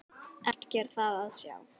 Ekki er það að sjá.